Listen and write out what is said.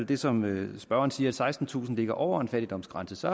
det som spørgeren siger at sekstentusind ligger over en fattigdomsgrænse